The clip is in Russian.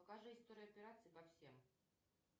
покажи историю операций по всем